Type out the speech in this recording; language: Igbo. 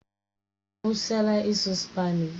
Ọ kwụsịla ịsụ Spanishi?